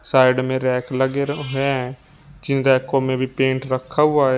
Side में rack लगे रहो है जिन रैको में भी पेंट रखा हुआ है।